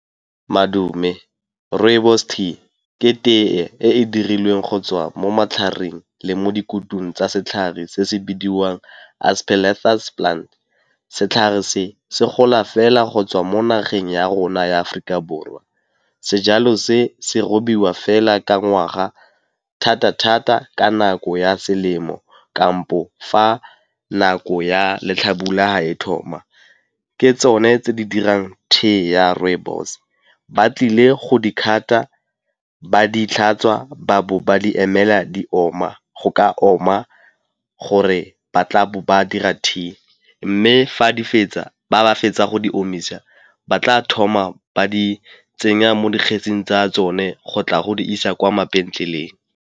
Madume, rooibos tea ke tee e e dirilweng go tswa mo matlhareng le mo dikutung tsa setlhare se se bidiwang Aspalathus plant. Setlhare se, se gola fela go tswa mo nageng ya rona ya Aforika Borwa. Sejalo se, se robiwa fela ka ngwaga thata-thata ka nako ya selemo kampo fa nako ya letlhabula ha e thoma, ke tsone tse di dirang tea ya rooibos. Ba tlile go di-cut-a, ba ditlhatswa ba bo ba di emela di oma, go ka oma gore ba tla ba dira tea. Mme fa di fetsa, ba fetsa go di omisa ba tla thoma ba di tsenya mo dikgetsing tsa tsone go tla go di isa kwa mabenkeleng.